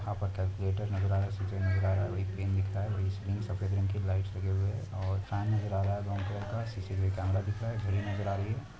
यहां पर कैलकुलेटर नजर आ रहा है सीज़र नजर आ रहा है और एक पेन दिख रही है सफेद रंग की लाइट्स लगी हुई है और फैन नजर आ रहा है ब्राउन कलर का सी_सी_टी_वी कैमरा नजर आ रहा है घड़ी नजर आ रही है।